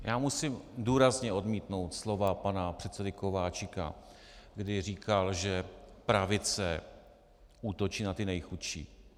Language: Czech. Já musím důrazně odmítnout slova pana předsedy Kováčika, kdy říkal, že pravice útočí na ty nejchudší.